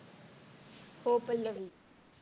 हो पल्लवी.